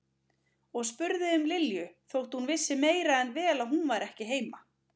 Og spurði um Lilju þótt hún vissi meira en vel að hún var ekki heima.